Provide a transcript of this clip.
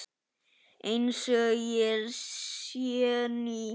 Einsog ég sé ný.